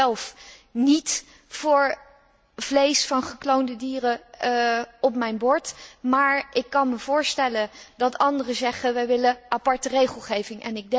Ik ben zelf niet voor vlees van gekloonde dieren op mijn bord, maar ik kan mij voorstellen dat andere zeggen, wij willen aparte regelgeving.